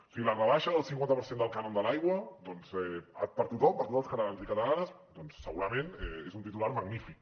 o sigui la rebaixa del cinquanta per cent del cànon de l’aigua doncs per a tothom per a tots els catalans i catalanes doncs segurament és un titular magnífic